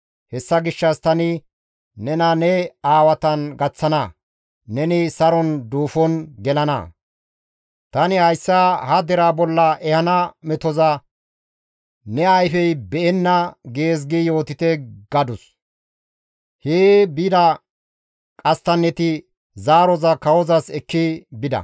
Hessa gishshas tani nena ne aawatan gaththana; neni saron duufon gelana; tani hayssa ha deraa bolla ehana metoza ne ayfey be7enna› gees gi yootite» gadus. Hee bida qasttanneti zaaroza kawozas ekki bida.